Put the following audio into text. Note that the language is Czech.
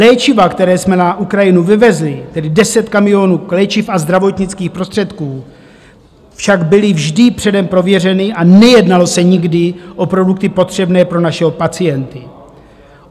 Léčiva, která jsme na Ukrajinu vyvezli, tedy 10 kamionů léčiv a zdravotnických prostředků, však byla vždy předem prověřena a nejednalo se nikdy o produkty potřebné pro naše pacienty.